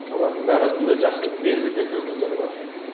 олардың да арасында жақсы белді белді өкілдер бар